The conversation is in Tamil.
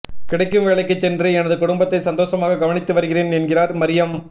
கிடைக்கும் வேலைக்கு சென்று எனது குடும்பத்தை சந்தோஷமாக கவனித்து வருகிறேன் என்கிறார் மரியம்